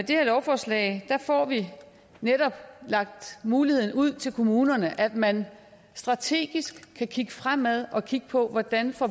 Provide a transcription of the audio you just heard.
her lovforslag får vi netop lagt muligheden ud til kommunerne altså at man strategisk kan kigge fremad og kigge på hvordan vi får